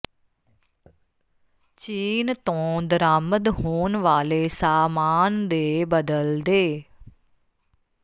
ਚੀਨ ਤੋਂ ਦਰਾਮਦ ਹੋਣ ਵਾਲੇ ਸਾਮਾਨ ਦੇ ਬਦਲ ਦੇ